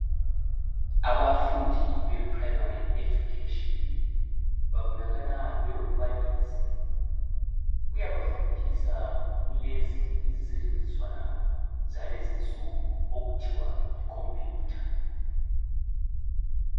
Abafundi beprimary education, Babonakala belombalisi. Uyabafundisa, kulezi izisetshenziswana zalezi insuku ,okuthiwa yicomputer,